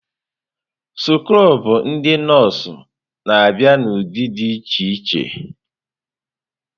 Skrobụ ndị nọọsụ na-abịa n'ụdị dị iche iche.